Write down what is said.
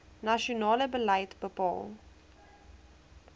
nasionale beleid bepaal